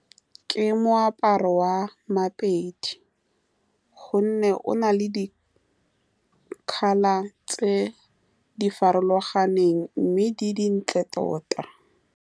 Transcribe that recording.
Ke moaparo wa mapedi, ka gonne o na le di-colour tse di farologaneng, mme di dintle tota.